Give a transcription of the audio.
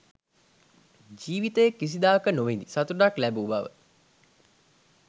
ජීවිතයේ කිසිදාක නොවිඳි සතුටක් ලැබූ බව